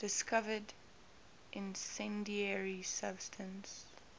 discovered incendiary substance